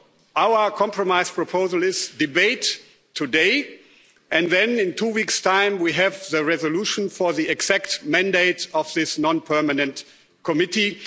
Our compromise proposal is therefore to have a debate today and then, in two weeks' time, we will have the resolution for the exact mandate of this non permanent committee.